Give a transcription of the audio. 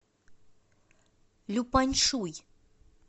люпаньшуй